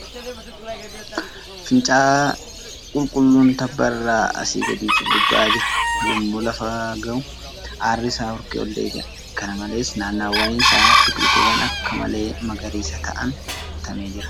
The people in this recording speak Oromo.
Fincaa'aa qulqulluun tabba irraa asii gadi furgugaa'aa jira. Yemmuu lafa ga'u aarri isaa hurkee ol deebi'a . Kana malees , naannawaan isaa biqiltuuwwan akka malee magariisa ta'aniin guutamee jira .